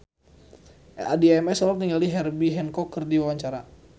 Addie MS olohok ningali Herbie Hancock keur diwawancara